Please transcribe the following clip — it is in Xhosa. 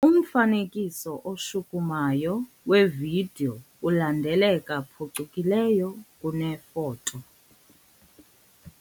Umfanekiso oshukumayo wevidiyo ulandeleka phucukileyo kunefoto.